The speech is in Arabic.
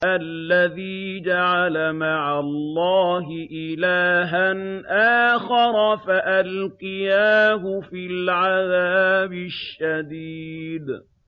الَّذِي جَعَلَ مَعَ اللَّهِ إِلَٰهًا آخَرَ فَأَلْقِيَاهُ فِي الْعَذَابِ الشَّدِيدِ